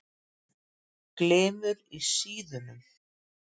Glymur í síðunum.